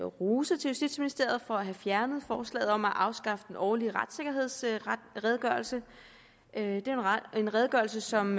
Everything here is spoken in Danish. rose til justitsministeriet for at have fjernet forslaget om at afskaffe den årlige retssikkerhedsredegørelse det er en redegørelse som